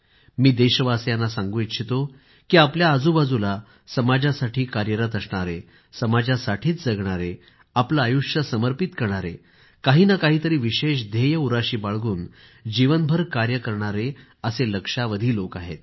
मी देशवासियांना सांगू इच्छितो की आपल्या आजूबाजूला समाजासाठी कार्यरत असणारे समाजासाठीच जगणारे आपलं आयुष्य समर्पित करणारे काही ना काही तरी विशेष ध्येय उराशी बाळगून जीवनभर कार्य करणारे लक्षावधी लोक आहेत